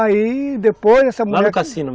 Aí, depois, essa mulher... Lá no cassino